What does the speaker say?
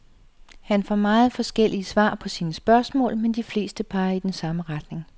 Han får meget forskellige svar på sine spørgsmål, men de fleste peger i den samme retning.